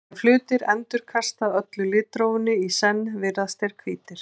ef hlutir endurkasta öllu litrófinu í senn virðast þeir hvítir